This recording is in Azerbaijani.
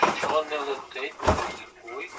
Uçmur, yayını keçirir.